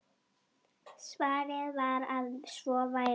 Svarið var að svo væri.